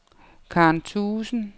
Karen Thuesen